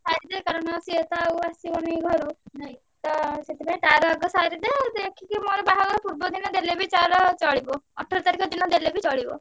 ସାରିଦେ କାରଣ ସିଏ ତ ଆଉ ଆସିବନି ଘରୁ। ତ ସେଥିପାଇଁ ତାର ଆଗ ସାରିଦେ ଦେଖିକି ମୋର ବାହାଘର ପୂର୍ବ ଦିନ ଦେଲେ ବି ତାର ଚଳିବ। ଅଠର ତାରିଖ ଦିନ ଦେଲେ ବି ଚଳିବ।